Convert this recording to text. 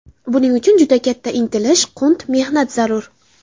Buning uchun juda katta intilish, qunt, mehnat zarur.